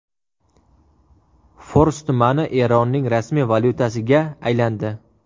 Fors tumani Eronning rasmiy valyutasiga aylandi .